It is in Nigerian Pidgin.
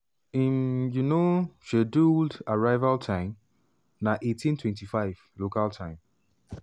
im um scheduled arrival time na 18:25 local time.